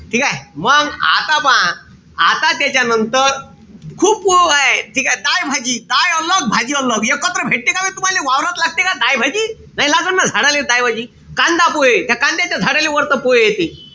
ठीकेय? मंग आता पहा, आता त्याच्यानंतर खूप हाये. दाय भाजी एकत्र भेटते का बे तुम्हाले वावरात दाय-भाजी? नाई लागत न झाडाले दाय-भाजी? कांदा-पोहे, त्या कांद्याच्या झाड्याला वरते पोहे येते.